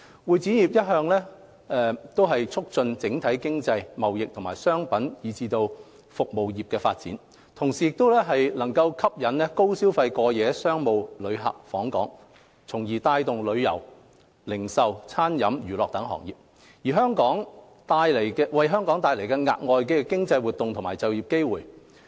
會展業一方面促進整體經濟、貿易及商品和服務業的發展，同時吸引高消費過夜商務旅客訪港，帶動旅遊、零售、餐飲、娛樂等行業，為香港帶來額外的經濟活動和就業機會。